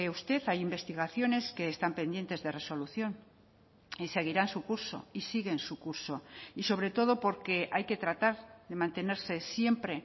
usted hay investigaciones que están pendientes de resolución y seguirán su curso y siguen su curso y sobre todo porque hay que tratar de mantenerse siempre